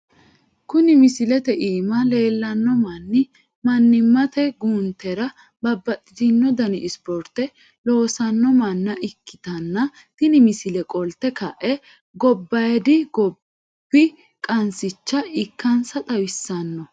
Kuni misilete iima leellanno manni mannimate guuntera babbaxitino dani ispoorte loossanno manna ikkitanna tini misile qolte ka'e gobbaayidi gobb qansicha ikkansa xawissanno.